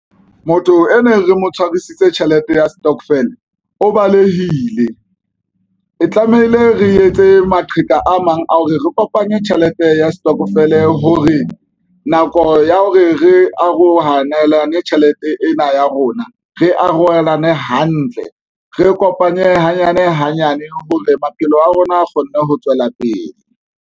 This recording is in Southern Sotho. Motho e ne re mo tshwarisitse tjhelete ya stokvel, o balehile, e tlamehile re etse maqheka a mang a hore re kopanye tjhelete ya setokofele, hore nako ya hore re arohaneng lane tjhelete ena ya rona re arolelane hantle, re kopanye hanyane hanyane hore maphelo a rona a kgone ho tswela pele.